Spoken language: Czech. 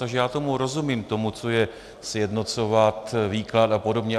Takže já tomu rozumím, tomu, co je sjednocovat výklad a podobně.